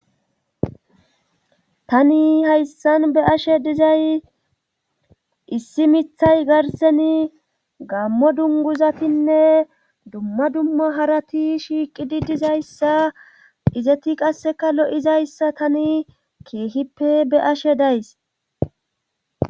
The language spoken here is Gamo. tani hayssan be ashe dizay issi mithay garseni gammo dunguzatinne dumma dumma harati shiiqidi dizayssa izeti qasseka lo7izayssa tani keehippe be7ashe days.